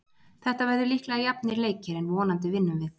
Þetta verða líklega jafnir leikir en vonandi vinnum við.